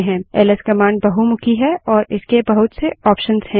LS command बहुमुखी है और इसके बहुत से ऑप्शंस हैं